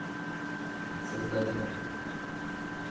создатель